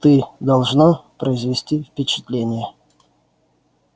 ты должна произвести впечатление